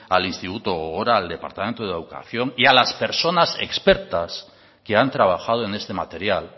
al instituto gogora al departamento de educación y a las personas expertas que han trabajado en este material